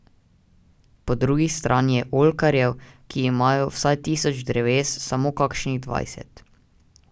Po drugi strani je oljkarjev, ki imajo vsaj tisoč dreves, samo kakšnih dvajset.